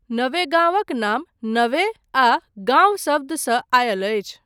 नवेगाँवक नाम 'नवे' आ 'गाँव' शब्दसँ आयल अछि।